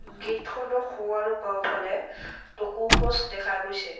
Gate খনৰ সোঁ আৰু বাওঁফালে টকৌ গছ দেখা গৈছে।